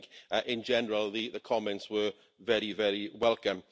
But I think, in general, the comments were very, very welcome.